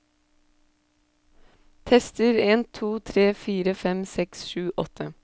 Tester en to tre fire fem seks sju åtte